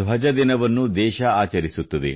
ಧ್ವಜ ದಿನವನ್ನೂ ದೇಶ ಆಚರಿಸುತ್ತದೆ